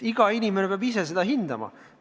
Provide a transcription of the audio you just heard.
Iga inimene peab ise seda hindama.